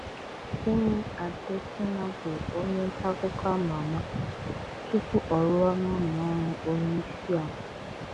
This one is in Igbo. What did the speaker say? Femi Adesina bụ onye ntaakụkọ ama ama tupu ọ rụwa n'ụlọọrụ onyeisiala